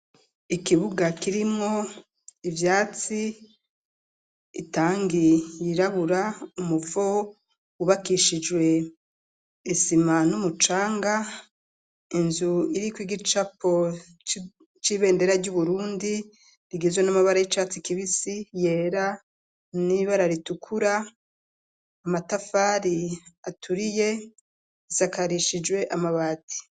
Ikibuga kirimwo, ivyatsi, itangi yirabura, umuvo, wubakishijwe isima, n'umucanga; inzu iriko igicapo, c'ibendera ry'Uburundi, rigizwe n'amabara, y'icatsi kibisi, yera n'ibara ritukura; amatafari aturiye, isakarishijwe amabati.